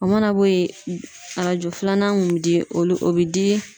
O mana bɔ yen arajo filanan mun bi di olu bi di